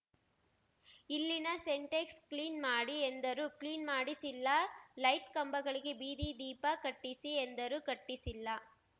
ಇಲ್ಲಿನ Sintex clean ಮಾಡಿ ಎಂದರೂ ಕ್ಲೀನ್ ಮಾಡಿಸಿಲ್ಲ ಲೈಟ್ ಕಂಬಗಳಿಗೆ ಬೀದಿ ದೀಪ ಕಟ್ಟಿಸಿ ಎಂದರೂ ಕಟ್ಟಿಸಿಲ್ಲ